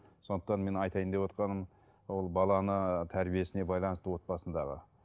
сондықтан мен айтайын деп отырғаным ол баланы тәрбиесіне байланысты отбасындағы